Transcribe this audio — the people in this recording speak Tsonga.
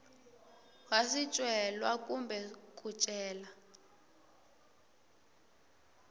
wa swicelwa kumbe ku cela